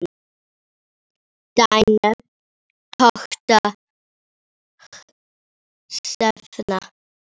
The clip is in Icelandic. Þín dóttir Hrefna.